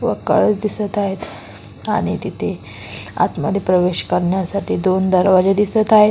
व कळस दिसत आहेत आणि तिथे आतमध्ये प्रवेश करण्यासाठी दोन दरवाजे दिसत आहेत.